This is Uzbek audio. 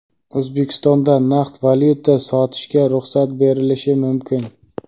O‘zbekistonda naqd valyuta sotishga ruxsat berilishi mumkin.